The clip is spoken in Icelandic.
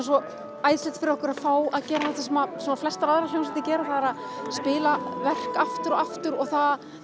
svo æðislegt fyrir okkur að fá að gera þetta sem flestar aðrar hljómsveitir gera að spila verk aftur og aftur og það